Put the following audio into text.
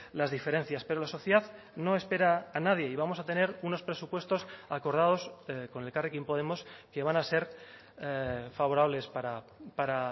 las diferencias pero la sociedad no espera a nadie y vamos a tener unos presupuestos acordados con elkarrekin podemos que van a ser favorables para